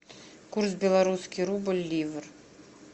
курс белорусский рубль ливр